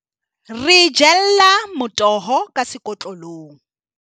re jella motoho ka sekotlolong.